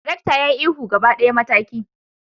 darakta ya yi ihu gaba daya, mataki!